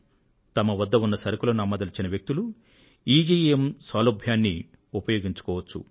తమ వద్ద ఉన్న సరుకులను విక్రయించదలచిన వ్యక్తులు ఈజీఇఎమ్ సౌలభ్యాన్ని ఉపయోగించుకోవచ్చు